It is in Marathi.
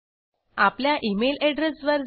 आपल्या इमेल एड्रेस वर जा